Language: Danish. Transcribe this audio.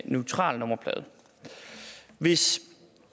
neutral nummerplade hvis